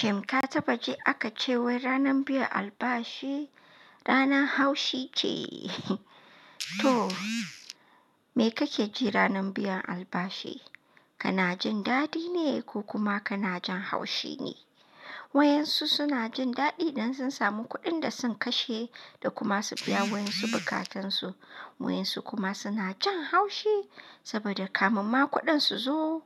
Shin ka taɓa ji aka ce wai ranar biyan albashi rana haushi ce? To, me kake ji ranar biyan albashi? Kana jin daɗi ne ko kuma kana jin haushi ne? Wayan su suna jin daɗi dan sun samu kuɗin da sun kashe da kuma su biya wayan su bukatansu. Wayan su kuma suna jin haushi saboda kamun ma kuɗin su zo,